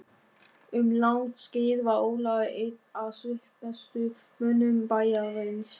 Um langt skeið var Ólafur einn af svipmestu mönnum bæjarins.